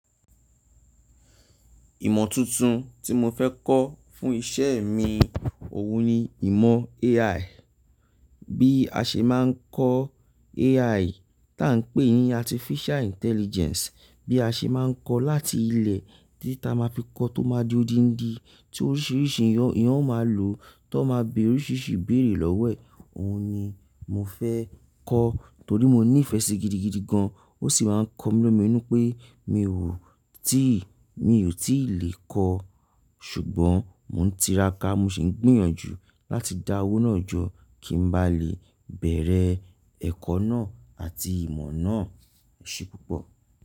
Ìmọ̀ tuntun tí mo fẹ́ kọ́ fún iṣẹ́ mi, òun ni ìmọ̀ AI. Bí a ṣe máa ń kọ́ AI táa ń pè ní Artificial Intelligence, bí a ṣe máa ń kọ́ láti ilẹ̀ títi a máa fi kọ́ tó máa di odindi, tí oríṣiríṣi èyàn máa lò tó máa béèrè oríṣiríṣi ìbéèrè lọ́wọ́ e. Òun ni mo fẹ́ kọ́ torí mo ní ìfẹ́ sí i gidigidi gan-an. Ó sì máa ń kọ mí lomí inú pé mi ò tí, mi ò tí lè kọ́. Ṣùgbọ́n mò ń tiraka, mo sì ń gbìyànjú láti dá owó náà jọ kí n bá lè bẹ̀rẹ̀ ẹ̀kọ́ náà àti ìmọ̀ náà o ṣe púpọ̀.